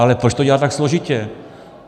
Ale proč to dělat tak složitě?